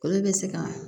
Olu bɛ se ka